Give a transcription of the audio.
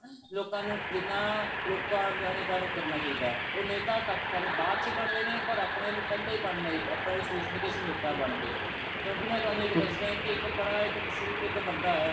ਲੋਕਾਂ ਨੂੰ ਜਿੰਨਾ ਲੋਕਾਂ ਨੂੰ ਜਾਗਰੂਤ ਕਰਨਾ ਚਾਹੀਦਾ ਹੈ ਉਹ ਨੇਤਾ ਘੱਟ ਪਹਿਲਾਂ ਬਾਅਦ ਚੋ ਬਣਦੇ ਨੇ ਪਰ ਆਪਨੇ ਆਲੇ ਸੋਚਦੇ ਨੇ ਕਿ ਅਸੀਂ ਨੇਤਾ ਬਣ ਗਏ ਕਿਉਂਕਿ ਮੈਂ ਤੁਹਨੂੰ ਦੱਸਦਾ ਇੱਕ ਬੜਾ ਇੱਕ ਮਸ਼ਹੂਰ ਇੱਕ ਬੰਦਾ ਐ